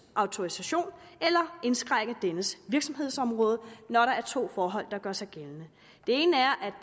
autorisation eller indskrænke dennes virksomhedsområde når der er to forhold der gør sig gældende